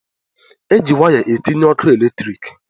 E ji waya etinye ọkụ eletriki.